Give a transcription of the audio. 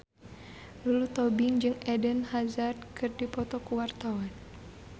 Lulu Tobing jeung Eden Hazard keur dipoto ku wartawan